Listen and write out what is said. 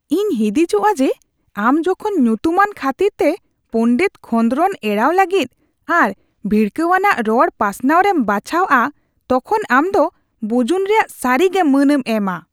ᱤᱧ ᱦᱤᱸᱫᱤᱡᱚᱜᱼᱟ ᱡᱮ, ᱟᱢ ᱡᱚᱠᱷᱚᱱ ᱧᱩᱛᱩᱢᱟᱱ ᱠᱷᱟᱹᱛᱤᱨᱛᱮ ᱯᱚᱸᱰᱮᱛ ᱠᱷᱚᱸᱫᱨᱚᱫ ᱮᱲᱟᱣ ᱞᱟᱹᱜᱤᱫ ᱟᱨ ᱵᱷᱤᱲᱠᱟᱹᱣᱟᱱᱟᱜ ᱨᱚᱲ ᱯᱟᱥᱱᱟᱣ ᱨᱮᱢ ᱵᱟᱪᱷᱟᱣᱼᱟ ᱛᱚᱠᱷᱚᱱ ᱟᱢ ᱫᱚ ᱵᱩᱡᱩᱱ ᱨᱮᱭᱟᱜ ᱥᱟᱹᱨᱤᱜᱮ ᱢᱟᱹᱱᱮᱢ ᱮᱢᱟ ᱾